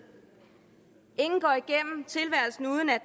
ingen går igennem tilværelsen uden at